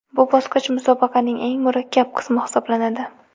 Bu bosqich musobaqaning eng murakkab qismi hisoblanadi.